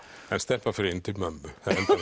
en stelpan fer inn til mömmu